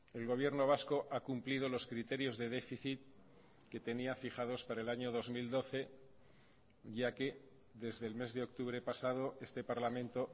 el gobierno vasco ha cumplido los criterios de déficit que tenía fijados para el año dos mil doce ya que desde el mes de octubre pasado este parlamento